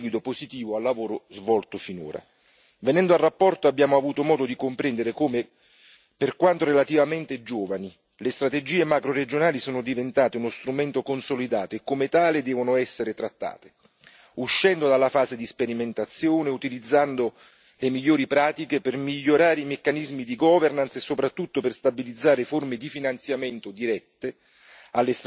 per dare un seguito positivo al lavoro svolto finora. Venendo alla relazione, abbiamo avuto modo di comprendere come, per quanto relativamente giovani, le strategie macroregionali sono diventate uno strumento consolidato e come tale devono essere trattate, uscendo dalla fase di sperimentazione, utilizzando le migliori pratiche per migliorare i meccanismi di governance e, soprattutto, per stabilizzare forme di finanziamento dirette